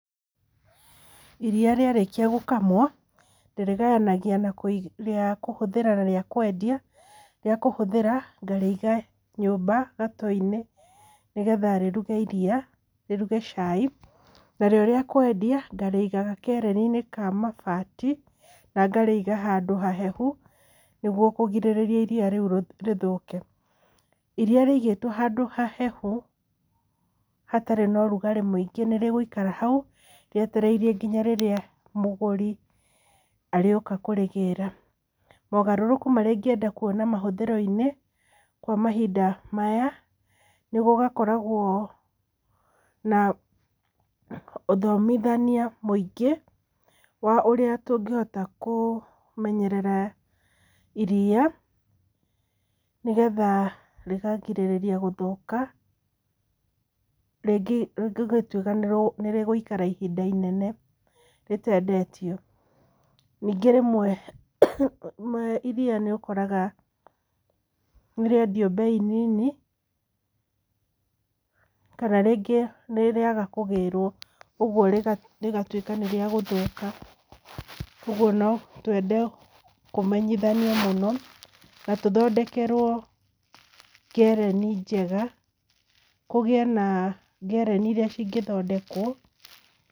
Iria rĩarĩkia gũkamwo, ndĩrĩgayanagia rĩa kũhũthĩra na rĩa kwendia. Rĩa kũhũthĩra ngarĩiga nyũmba gato-inĩ nĩgetha rĩruge iria rĩruge cai. Narĩo rĩa kwendia ngarĩiga gakereni-inĩ ka mabati na ngarĩiga handũ hahehu, nĩguo kũgirĩrĩria iria rĩu rĩthũke. Iria rĩigĩtwo handũ hahehu, hatarĩ na ũrugarĩ mũingĩ nĩ rĩgũikara hau rĩetereire nginya rĩrĩa mũgũri arĩũka kũrĩgĩra. Mogarũrũku marĩa ingĩenda kuona mahũthĩro-inĩ kwa mahinda maya, nĩ gũgakoragwo na ũthomithania mũingĩ, wa ũrĩa tũngĩhota kũmenyerera iria nĩgetha rĩkagirĩrĩria gũthũka, rĩngĩ rĩngĩtuĩka nĩ rĩgũikara ihinda inene rĩtendetio. Ningĩ rĩmwe iria nĩ ũkoraga nĩ rĩendio mbei nini kana rĩngĩ nĩ rĩaga kũgĩrwo rĩgatuĩka nĩ rĩagũthũka. Ũguo no twende kũmenyithanio mũno na tũthondekerwo ngereni njega, kũgĩe na ngereni irĩa cingĩthondekwo...